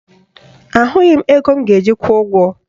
Ahụghị m ego m ga-eji kwụọ ụgwọ